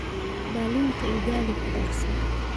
dhalinta ugali ku darso